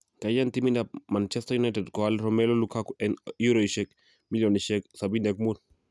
kaiyan timit ab Man utd koaal Romelu Lukaku en eorosiek milionisiek 75